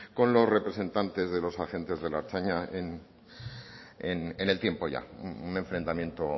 con los representantes de los agentes de la ertzaintza en el tiempo ya un enfrentamiento